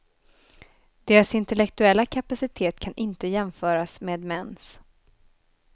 Deras intellektuella kapacitet kan inte jämföras med mäns.